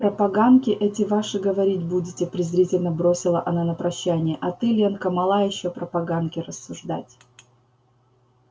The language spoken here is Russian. про поганки эти ваши говорить будете презрительно бросила она на прощание а ты ленка мала ещё про поганки рассуждать